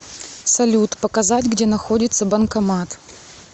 салют показать где находится банкомат